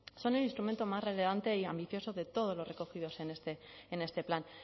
son el instrumento más relevante y ambicioso de todos los recogidos en este en este plan